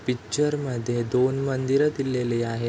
Picture मध्ये दोन मंदिर दिलेली आहे.